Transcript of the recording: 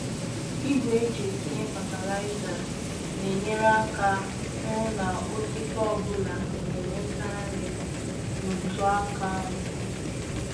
Igwe eji etinye fatịlaịza na-enyere aka hụ na osisi ọ bụla na-enweta nri n'otu aka ahụ.